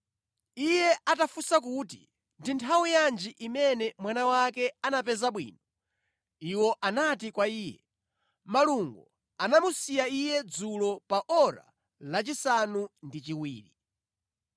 Iye atafunsa kuti ndi nthawi yanji imene mwana wake anapeza bwino, iwo anati kwa iye, “Malungo anamusiya iye dzulo pa ora lachisanu ndi chiwiri.”